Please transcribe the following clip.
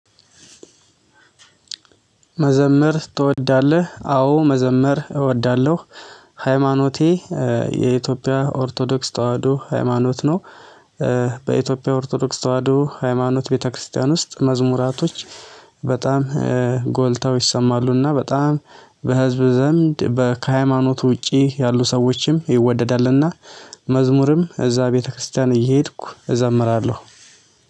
መዘመር ትወዳለህ? አዎ መዘመር እወዳለሁ? ሃይማኖቴ የኢትዮጵያ ኦርቶዶክስ ተዋህዶ ሃይማኖት ነው። በኢትዮጵያ ኦርቶዶክስ ተዋህዶ ሃይማኖት ቤተክርስቲያን ውስጥ መዝሙራቶች በጣም ጎልተው ይሰማሉ። እና በጣም በህዝብ ዘንድ ከሃይማኖት ውጪ ያሉ ሰዎችም ይወደዳል። እና መዝሙርም እዛ ቤተክርስቲያን እየሄድኩ እዘምራለሁ።